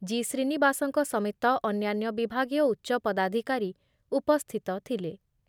G ଶ୍ରୀନିବାସଙ୍କ ସମେତ ଅନ୍ୟାନ୍ୟ ବିଭାଗୀୟ ଉଚ୍ଚପଦାଧିକାରୀ ଉପସ୍ଥିତ ଥିଲେ ।